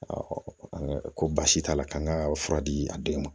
an ko baasi t'a la k'an ka fura di a denw ma